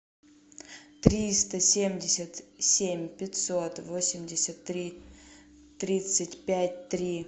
триста семьдесят семь пятьсот восемьдесят три тридцать пять три